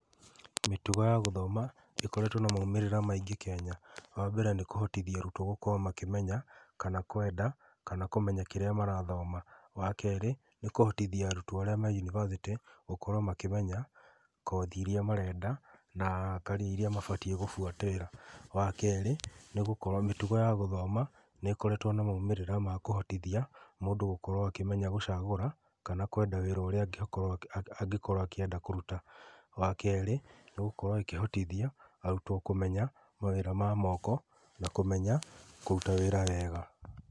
Mĩtugo ya gũthoma ĩkoretwo na maumĩrĩra maingĩ Kenya wa mbere nĩ kũhotithio arutwo gũkorwo makĩmenya kana kwenda kana kũmenya kĩrĩa marathoma wa kerĩ nĩ kũhotithia arutwo arĩa marĩ yunibacĩtĩ gũkorwo makĩmenya kothi iria marenda na carrier iria mabatie gũbuatĩrĩra, wa keri mitugo ya gũthoma nĩ gĩkoretwo na ũhoro wa kũhotithia mũndũ akĩhota gũchagũra kana kũmenya wĩra ũrĩa angĩenda kũruta wa keri nĩ gũkorwo ĩkĩhotithia arutwo kũmenya mawĩra ma moko na kũmenya kũruta wĩra wega.